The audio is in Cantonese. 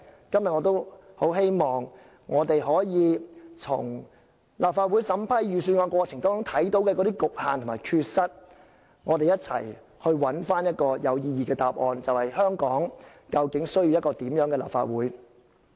今天我很希望可以從立法會審批預算案過程中的局限和缺失，針對香港需要一個怎樣的立法會，一起尋找有意義的答案。